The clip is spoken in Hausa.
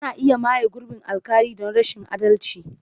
Ana iya maye gurbin alƙali don rashin adalci.